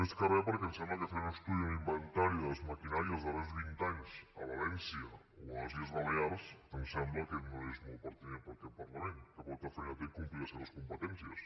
més que re perquè em sembla que fer un estudi un inventari de les maquinàries dels darrers vint anys a valència o a les illes balears ens sembla que no és molt pertinent per aquest parlament que molta feina té en complir les seves competències